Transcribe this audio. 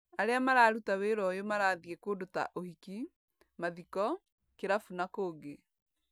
Arĩa mararuta wĩra ũyũ marathiĩ kũndũ ta ũhiki, mathiko, kirabu na kũngĩ